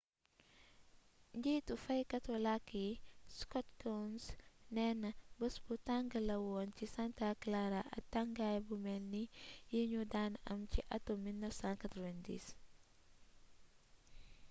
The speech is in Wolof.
njiitu faykatu lakk yi scott kouns néena bés bu tang la woon ci santa clara ak tangaay bu mel ni yi ñu dan am ci attum 1990